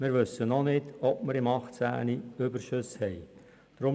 Wir wissen noch nicht, ob wir im Jahr 2018 Überschüsse erzielen werden.